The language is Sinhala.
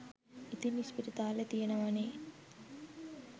ඉතින් ඉස්පිරිතාල තියෙනවනේ